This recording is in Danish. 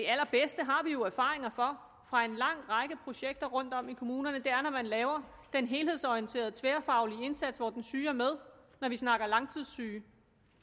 har vi jo erfaringer for fra en lang række projekter rundtom i kommunerne er når man laver den helhedsorienterede tværfaglige indsats hvor den syge er med når vi snakker langstidssyge